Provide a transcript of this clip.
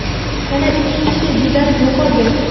yana ikki kishi bedarak yo‘qolgan.